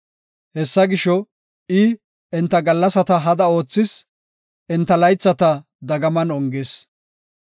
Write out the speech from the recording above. Hessa gisho, I enta gallasata hada oothis; enta laythata dagaman ongis.